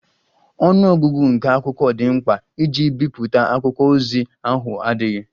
Ọnụ ọgụgụ nke akwụkwọ dị mkpa iji bipụta akwụkwọ ozi ahụ adịghị.